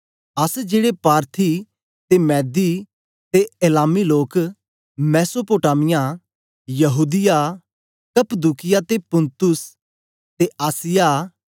अस जेड़े पार्थी ते मेदी ते एलामी लोक मेसोपोटामिया यहूदीया कप्पदूकिया ते पुन्तुस ते आसिया